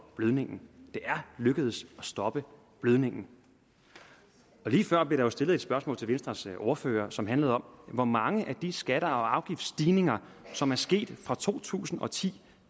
blødningen det er lykkedes at stoppe blødningen lige før blev der stillet et spørgsmål til venstres ordfører som handlede om hvor mange af de skatte og afgiftsstigninger som er sket fra to tusind og ti